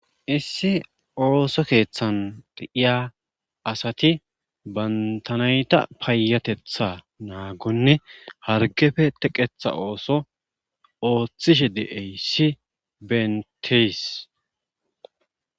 issi ooso keeththan deiya asati bantanayta payatetha naagonne hargefe teqetha ooso ooththishe de7eyssi benteys